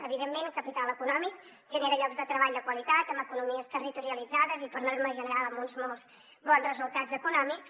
evidentment el capital econòmic genera llocs de treball de qualitat amb economies territorialitzades i per norma general amb uns molts bons resultats econòmics